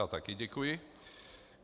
Já také děkuji.